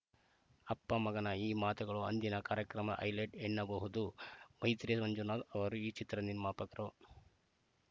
ಅಪ್ಪಮಗನ ಈ ಮಾತುಗಳು ಅಂದಿನ ಕಾರ್ಯಕ್ರಮದ ಹೈಲೈಟ್‌ ಎನ್ನಬಹುದು ಮೈತ್ರಿ ಮಂಜುನಾಥ್‌ ಅವರು ಈ ಚಿತ್ರದ ನಿರ್ಮಾಪಕರು